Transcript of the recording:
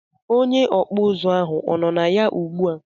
Onye okpu uzu ahu o nọ ya ugbu a?